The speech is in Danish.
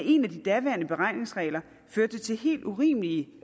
en af de daværende beregningsregler førte til helt urimelige